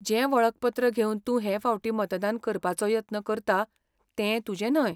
जें वळखपत्र घेवन तूं हे फावटी मतदान करपाचो यत्न करता तें तुजें न्हय.